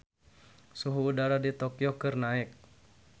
Suhu udara di Tokyo keur naek